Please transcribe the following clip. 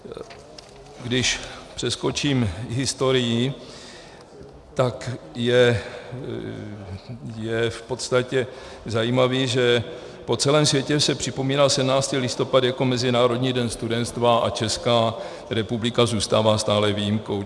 Když přeskočím historii, tak je v podstatě zajímavé, že po celém světě se připomíná 17. listopad jako Mezinárodní den studenstva a Česká republika zůstává stále výjimkou.